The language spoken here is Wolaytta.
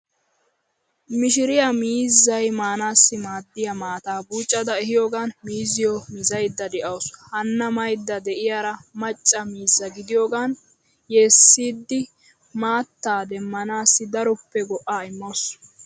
Mishiriya miizzay maanaassi maaddiya maataa buucada ehiyoogan miizziyo mizaydda de'awusu. Hanna maydda de'iyaara macca miizza gidiyogan yeessidi maatttaa demmanaassi daroppe go'aa immawusu.